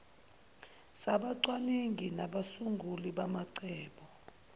sabacwaningi nabasunguli bamacebo